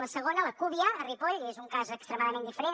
la segona la cúbia a ripoll és un cas extremadament diferent